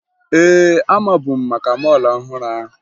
Ee, amabu m maka mọọlụ ọhụrụ ahụ